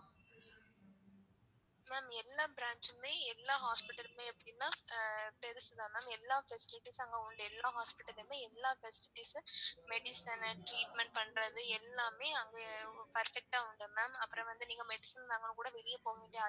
Ma'am எல்லா branch மே எல்லா hospital மே எப்படினா ஆஹ் பெருசு தான் ma'am எல்லா facilities ம் அங்க உண்டு எல்லா hospital லுமே எல்லா facilities ம் medicine னு treatment பண்றது எல்லாமே அங்கயே perfect ஆ வந்துரும் ma'am அப்பறம் வந்து நீங்க medicine வாங்கனுனா கூட வெளிய போக வேண்டிய.